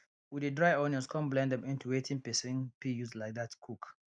we de dry onions come blend am into wetin person fit use like that cook